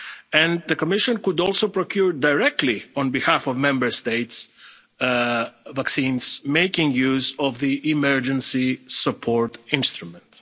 framework, and the Commission could also procure directly, on behalf of Member States, vaccines making use of the Emergency Support